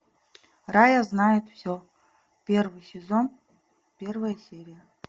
рая знает все первый сезон первая серия